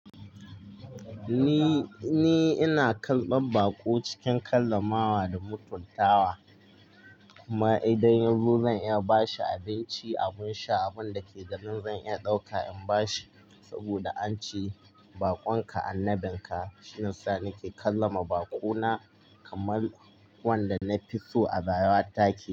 Ni ina karbar bako cikin karramawa da mutuntawa kuma idan yazo zan iya ba shi abinci, abin sha, abun da ke garin zan iya ɗauka in ba shi saboda an ce bakonka annabin ka. Shiyasa ni ke kallama baƙo na kamar wanda na fi so a baya take.